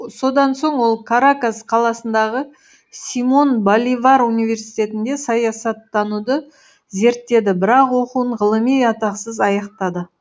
содан соң ол каракас қаласындағы симон боливар университетінде саясаттануды зерттеді бірақ оқуын ғылыми атақсыз аяқтады